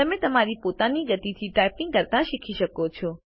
તમે તમારી પોતાની ગતિથી ટાઇપિંગ કરતા શીખી શકો છો